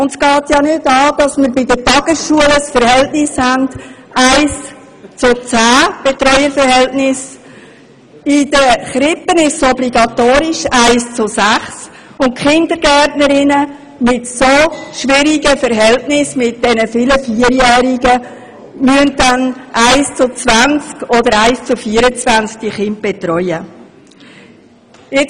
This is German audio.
Es geht nicht an, dass wir bei den Tagesschulen ein Betreuungsverhältnis von 1 zu 10 haben, bei Kinderkrippen ein Verhältnis von 1 zu 6 obligatorisch ist und Kindergärtnerinnen die Kinder in so schwierigen Gruppen mit vielen Vierjährigen in einem Verhältnis von 1 zu 20 oder gar 1 zu 24 betreuen müssen